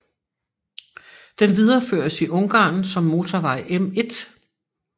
Den videreføres i Ungarn som motorvej M1